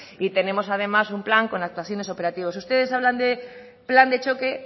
y tenemos además un plan con actuaciones operativos ustedes hablan de plan de choque